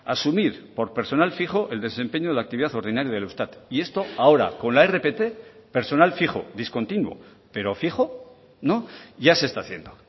asumir por personal fijo el desempeño de la actividad ordinaria del eustat y esto ahora con la rpt personal fijo discontinuo pero fijo no ya se está haciendo